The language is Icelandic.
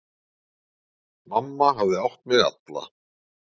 Mamma hafði átt mig alla.